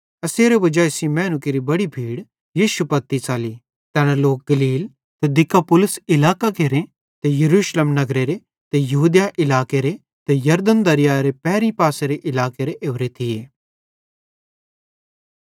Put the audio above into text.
एसेरे वजाई सेइं मैनू केरि बड़ी भीड़ यीशु पत्ती च़ली तैना गलील इलाकेरां दिकापुलिस इलाकेरां यरूशलेम नगरेरां यहूदिया इलाकेरे ते यरदन दरीयारे पैरीं पारेरे इलाकां केरां ओरे थिये